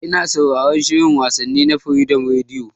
Ina sauraran shin wasanni na Freedom Radio